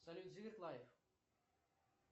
салют зиверт лайф